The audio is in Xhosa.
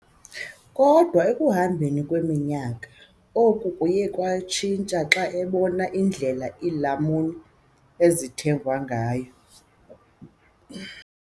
Kodwa ekuhambeni kweminyaka, oku kwaye kwatshintsha xa ebona indlela iilamuni ezithengwa ngayo.